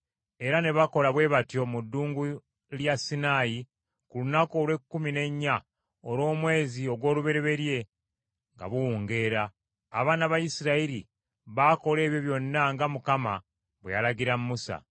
era ne bakola bwe batyo mu Ddungu lya Sinaayi ku lunaku olw’ekkumi n’ennya olw’omwezi ogw’olubereberye nga buwungeera. Abaana ba Isirayiri baakola ebyo byonna nga Mukama bwe yalagira Musa.